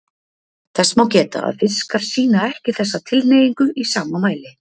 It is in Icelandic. Þess má geta að fiskar sýna ekki þessa tilhneigingu í sama mæli.